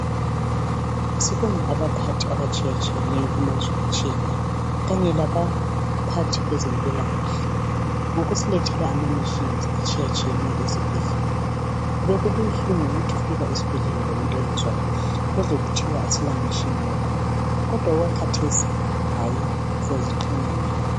Sibonge abaphathi abatshiyatshiyeneyo, kumazwe atshiyeneyo kanye labaphathi kwezempilakahle, ngokusilethela imitshina etshiyatshiyeneyo esibhedlela. Bekubuhlungu ukuthi ufika esibhedlela lomuntu ongezwa kuhle, uzwe kuthiwa asila mtshina wakhona, kodwa okwakhathesi hayi siyaziqhenya ngani